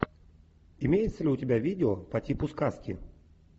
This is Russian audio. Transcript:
имеется ли у тебя видео по типу сказки